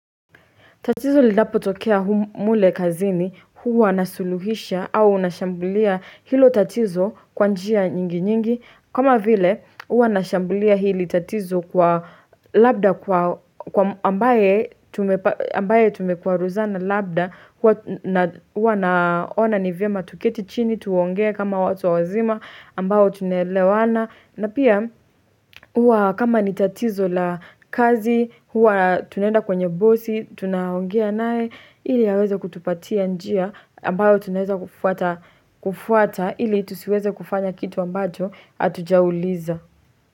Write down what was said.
Tatizo linapotokea hu mule kazini, huwa nasuluhisha au nashambulia hilo tatizo kwa njia nyingi nyingi, kama vile, huwa nashambulia hili tatizo kwa labda kwa ambaye tumekwaruzana labda kwa na huwa naona ni vyema tuketi chini tuongee kama watu wazima ambao tunelewana, na pia huwa kama nitatizo la kazi, huwa tunaenda kwenye bosi, tunaongea naye, ili aweze kutupatia njia ambayo tunaweza kufuata ili tusiweze kufanya kitu ambacho hatujauliza.